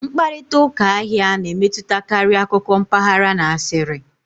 Mkparịta ụka ahịa na-emetụtakarị akụkọ mpaghara na asịrị